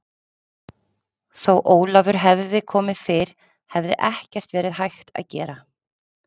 Þó Ólafur hefði komið fyrr hefði ekkert verið hægt að gera.